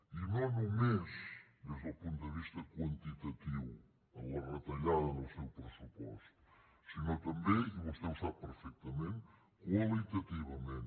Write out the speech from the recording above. i no només des del punt de vista quantitatiu en la retallada del seu pressupost sinó també i vostè ho sap perfectament qualitativament